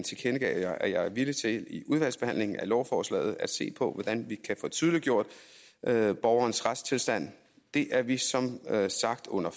tilkendegav jeg at jeg er villig til i udvalgsbehandlingen af lovforslaget at se på hvordan vi kan få tydeliggjort borgerens retsstilling det er vi som sagt under